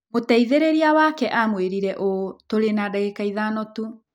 Mũteithĩrĩria wake aamwĩrire ũũ: "Tũrĩ na ndagĩka ithano tu."